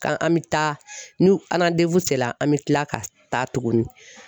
Ka an bɛ taa ni la an bɛ kila ka taa tuguni